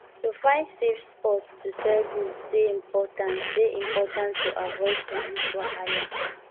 to find safe spots to sell goods dey important dey important to avoid police wahala